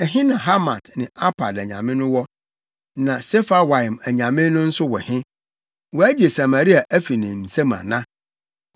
Ɛhe na Hamat ne Arpad anyame no wɔ? Na Sefarwaim anyame no nso wɔ he? Wɔagye Samaria afi me nsam ana?